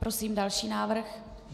Prosím další návrh.